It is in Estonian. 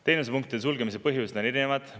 Teenusepunktide sulgemise põhjused on erinevad.